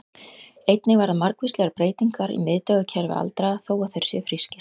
Einnig verða margvíslegar breytingar í miðtaugakerfi aldraðra, þó að þeir séu frískir.